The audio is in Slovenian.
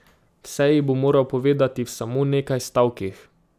Vse ji bo moral povedati v samo nekaj stavkih.